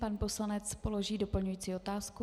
Pan poslanec položí doplňující otázku.